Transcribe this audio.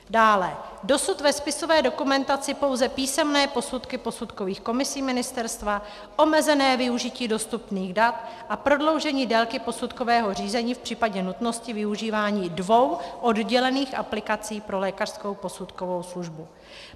Dále - dosud ve spisové dokumentaci pouze písemné posudky posudkových komisí ministerstva, omezené využití dostupných dat a prodloužení délky posudkového řízení v případě nutnosti využívání dvou oddělených aplikací pro lékařskou posudkovou službu.